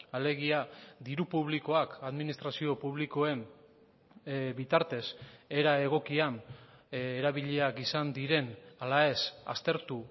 alegia diru publikoak administrazio publikoen bitartez era egokian erabiliak izan diren ala ez aztertu